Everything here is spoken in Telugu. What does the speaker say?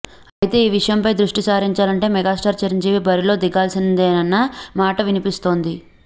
అయితే ఈ విషయంపై దృష్టి సారించాలంటే మెగాస్టార్ చిరంజీవి బరిలో దిగాల్సిందేనన్న మాట వినిపిస్తోంది